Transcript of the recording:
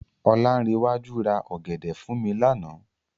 Ọláńrewájú ra ọ̀gẹ̀dẹ̀ fún mi lánàá.